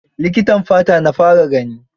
Likitan fata na fara gani.